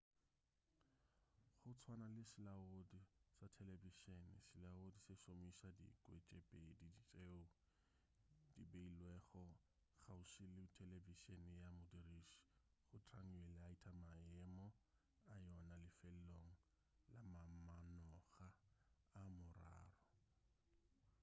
go tswana le selaodi sa telebišene selaodi se šomiša dikwe tše pedi tšeo di beilwego kgauswi le telebišene ya modiriši go triangulata maemo a yona lefelong la mamanoga a mararo